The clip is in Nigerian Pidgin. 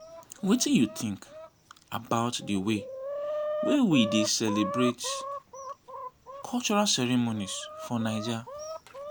wetin you think about di way wey we dey celebrate cultural ceremonies for naija?